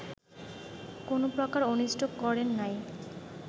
কোন প্রকার অনিষ্ট করেন নাই